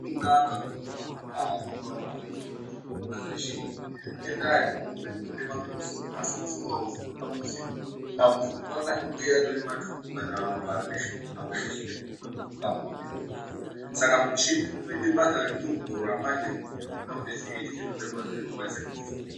Azvina kunaka kuti muntu arapiwe asingazivi kuti chinomurwadza chiini, ngendaa yekuti umweni unotemwe ngemusoro asi musoro arisiro dambudziko. Dambudziko anodekunge arimatumbu kana ropa risi kuhambe zvisizikuhlamburuka mumuwiri memuntu. Saka mushini unoite basa rekuongorora manje kuti chiini chikundirwadzise muntu soro.